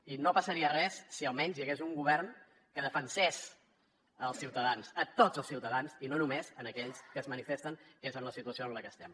i no passaria res si almenys hi hagués un govern que defensés els ciutadans a tots els ciutadans i no només a aquells que es manifesten que és en la situació en la que estem